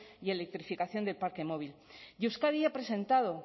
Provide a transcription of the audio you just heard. y electrificación del parque móvil y euskadi ha presentado